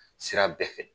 Sira bɛɛ fɛ